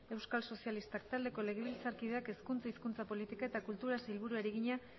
euskal sozialistak taldeko legebiltzarkideak hezkunta hizkuntza politika eta kulturako sailburuari egina